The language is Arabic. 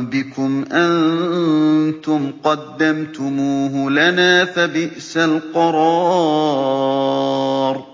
بِكُمْ ۖ أَنتُمْ قَدَّمْتُمُوهُ لَنَا ۖ فَبِئْسَ الْقَرَارُ